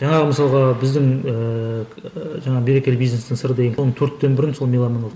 жаңағы мысалға біздің ііі жаңағы берекелі бизнестің сыры деген төрттен бірін сол меломан алады